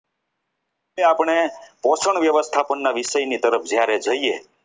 આજે આપણે પોષણ વ્યવસ્થાપનની વિષયની તરફ જ્યારે જઈએ.